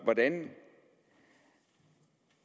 hvordan